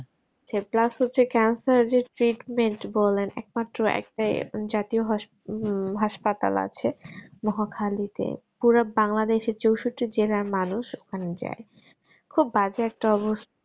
plus হচ্ছে cancer এর treatment বলেন একমাত্র একটাই আছে জাতীয় হোস হাসপাতাল আছে মহাখালীতে পুরো bangladesh চৌষট্টি জেলার মানুষ ওখানে যাই খুব বাজে একটা অবস্থা